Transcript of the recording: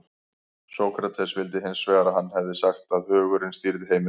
sókrates vildi hins vegar að hann hefði sagt að hugurinn stýrði heiminum